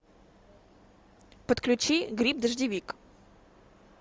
подключи гриб дождевик